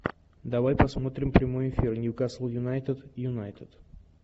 давай посмотрим прямой эфир ньюкасл юнайтед юнайтед